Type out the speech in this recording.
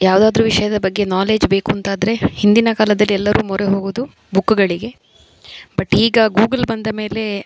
ಯಾವ್ದಾದ್ರು ವಿಷಯದ ಬಗ್ಗೆ ನಾಲೆಜ್ ಬೇಕೂಂತಾದ್ರೆ ಹಿಂದಿನ ಕಾಲದಲ್ಲಿ ಎಲ್ಲರು ಮೊರೆ ಹೋಗುವುದು ಬುಕ್ಕುಗಳಿಗೆ ಬಟ್ ಈಗ ಗೂಗಲ್ ಬಂದ ಮೇಲೆ --